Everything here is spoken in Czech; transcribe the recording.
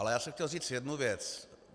Ale já jsem chtěl říct jednu věc.